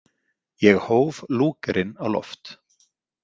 Ég hóf Lúgerinn á loft.